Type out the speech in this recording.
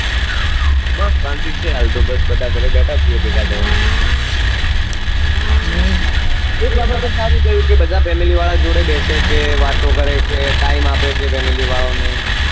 બસ શાંતિ છે હાલ તો બસ બધા ઘરે બેઠા છીએ ભેગા થઇ ને હમ એક બાબત તો સારી થયું કે બધા family વાળા જોડે બેસે છે વાતો કરે છે time આપે છે family વાળા ઓ ને